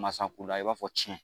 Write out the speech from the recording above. Masakunda i b'a fɔ tiɲɛ.